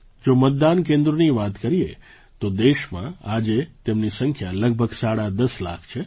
જો મતદાન કેન્દ્રોની વાત કરીએ તો દેશમાં આજે તેમની સંખ્યા લગભગ સાડા દસ લાખ છે